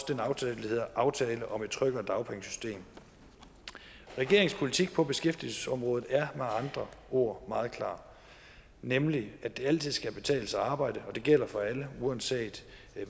den aftale der hedder aftale om et tryggere dagpengesystem regeringens politik på beskæftigelsesområdet er med andre ord meget klar nemlig at det altid skal kunne betale sig at arbejde og at det gælder for alle uanset